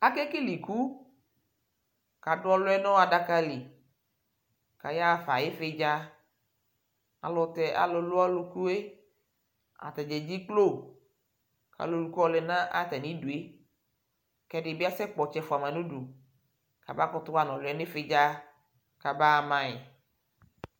Akekele iku : adʋ ɔlʋɛ n' ɔ adaka li , ayaɣafa ɩvɩdza Alʋtɛ alʋ lʋ ɔlʋkue , atanɩ edziklo , ayɔ ɔlʋkue lɛ n'a atamidue k'ɛdɩ bɩ asɛkpɔ ɔtsɛ fʋama n'udu, k'aba kʋtʋ ɣa n'ɔlʋɛ n'ɩvɩdza : k'abaa mayɩ